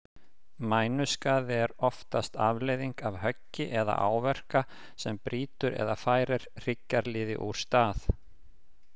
Mænuskaði er oftast afleiðing af höggi eða áverka sem brýtur eða færir hryggjarliði úr stað.